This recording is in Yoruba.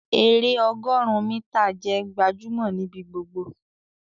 èrè ọgọrun mítà jẹ gbajúmò nibi gbogbo